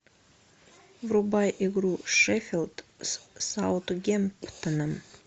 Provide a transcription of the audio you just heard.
врубай игру шеффилд с саутгемптоном